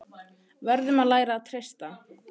Verðum að læra að treysta